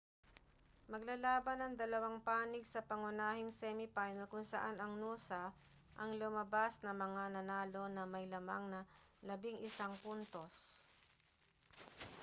maglalaban ang dalawang panig sa pangunahing semi final kung saan ang noosa ang lumabas na mga nanalo na may lamang na 11 puntos